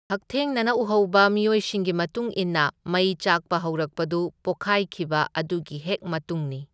ꯍꯛꯊꯦꯡꯅꯅ ꯎꯍꯧꯕ ꯃꯤꯑꯣꯏꯁꯤꯡꯒꯤ ꯃꯇꯨꯡ ꯏꯟꯅ ꯃꯩ ꯆꯥꯛꯄ ꯍꯧꯔꯛꯄꯗꯨ ꯄꯣꯈꯥꯏꯈꯤꯕ ꯑꯗꯨꯒꯤ ꯍꯦꯛ ꯃꯇꯨꯡꯅꯤ꯫